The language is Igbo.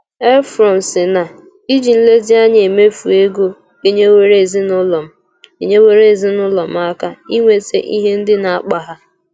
Éufrosiná: “Íjí nlezíanyá éméefú égo ényéwóró ézinụlọ m ényéwóró ézinụlọ m áká ínwétá íhe ndị ná-ákpá há”